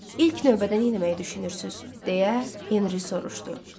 İlk növbədə nə eləməyi düşünürsüz deyə Henri soruşdu.